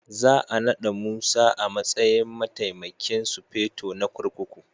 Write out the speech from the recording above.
Za a nada Musa a matsayin Mataimakin Sufeto na kurkuku